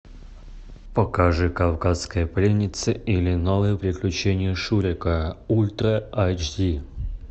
покажи кавказская пленница или новые приключения шурика ультра аш ди